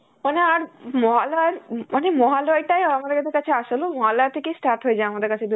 মানে আর মহালয়র~ উম মানে মহালয়টাই আমাদের কাছে আসল, ও মহালয়া থেকেই start হয়ে যায় আমাদের কাছে